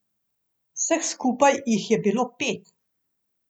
Vseh skupaj jih je bilo pet.